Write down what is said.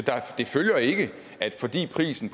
det følger ikke at fordi prisen